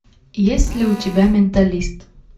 есть ли у тебя менталист